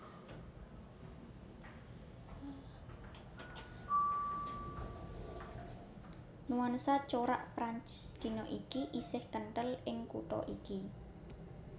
Nuansa corak Prancis dina iki isih kenthel ing kutha iki